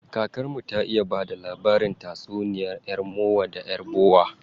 Kakar mu ta iya bada labarin tatsuniya yar mowa da yar bowa.